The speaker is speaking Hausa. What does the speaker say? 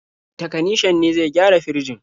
Takanishan ne zai gyara firjin.